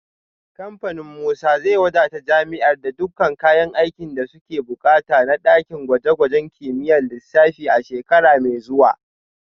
Kamfanin Musa zai wadata jami’ar da dukkan kayan aikin da suke bukata na dakin gwaje-gwajen kimiyyar lissafi a shekara mai zuwa